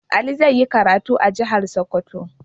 Ali zai yi karatu a jihar Sokoto.